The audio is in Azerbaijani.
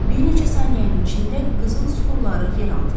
Bir neçə saniyənin içində qızıl süxurları yerə atıldı.